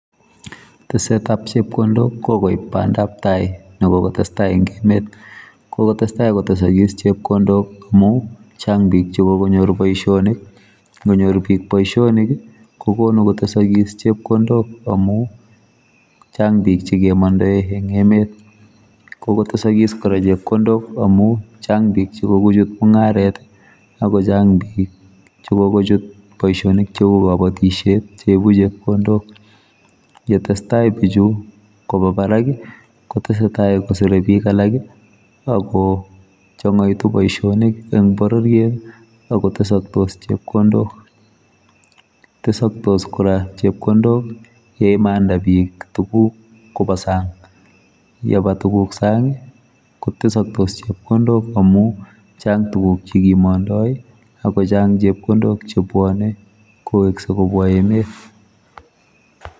Tesetab chepkondok kikoib pandap tai nekokotestai en emet kokotestai kotesokik chepkondok amun change bik chekokonyor boishonik inkonyor bik boishonik kii kokonu kotesikis chepkondok amun chang bik chekemondoi en emet. Kokotesokis koraa chepkondok amun chang chekokochut mungaret tii ako Chang bik chekokochut boishonik cheu kopotisheet cheibu chepkondok yetesetai bichu koba barak kii kotesetai kosire bik alak kii ako chongoitu boishonik en bororiet akotesosek chepkondok. Tesoktos Koraa chepkondok yeimanda bik tukuk koba sang, yeba tukuk sangi kotesoktos chepkondok amun chang tukuk chekimondoi ako chang chepkondok chebwonei kowekse kobwa emet.